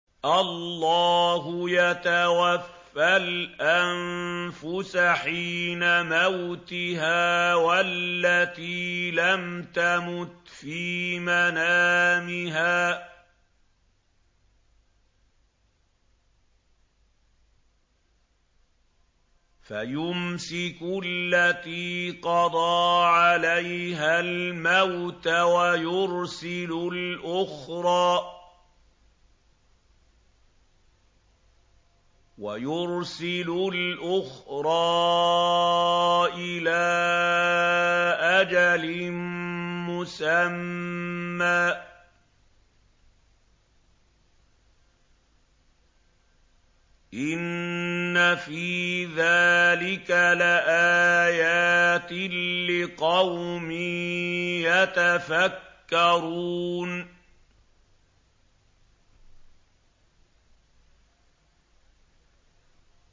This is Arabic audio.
اللَّهُ يَتَوَفَّى الْأَنفُسَ حِينَ مَوْتِهَا وَالَّتِي لَمْ تَمُتْ فِي مَنَامِهَا ۖ فَيُمْسِكُ الَّتِي قَضَىٰ عَلَيْهَا الْمَوْتَ وَيُرْسِلُ الْأُخْرَىٰ إِلَىٰ أَجَلٍ مُّسَمًّى ۚ إِنَّ فِي ذَٰلِكَ لَآيَاتٍ لِّقَوْمٍ يَتَفَكَّرُونَ